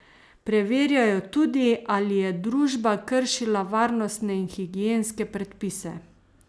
Preverjajo tudi, ali je družba kršila varnostne in higienske predpise.